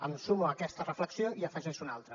em sumo a aquesta reflexió i n’afegeixo una altra